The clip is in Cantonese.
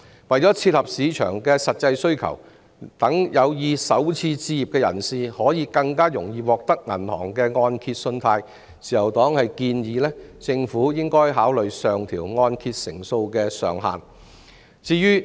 為切合市場的實際需求，讓有意首次置業的人士更易獲得銀行的按揭信貸，自由黨建議政府考慮上調按揭成數的上限。